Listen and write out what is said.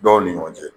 Dɔw ni ɲɔgɔn cɛ